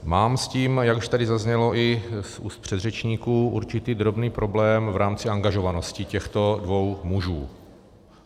Mám s tím, jak už tady zaznělo i z úst předřečníků, určitý drobný problém v rámci angažovanosti těchto dvou mužů.